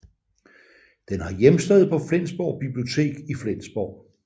Den har hjemsted på Flensborg Bibliotek i Flensborg